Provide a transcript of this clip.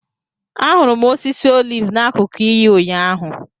Ahụrụ m osisi oliv n’akụkụ iyi, ụnyaahụ.